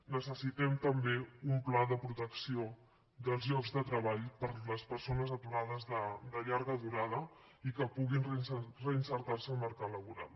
necessitem també un pla de protecció dels llocs de treball per a les persones aturades de llarga durada i que puguin reinserir se al mercat laboral